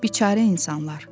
Biçarə insanlar.